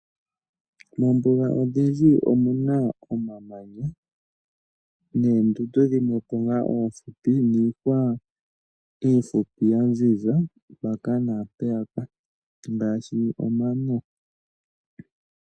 Moombuga odhindji omuna omamanya ,noondundu dhimwepo oohupi ,niihwa iihupi ya ziza mbyoka yili pooha ngaashi omano .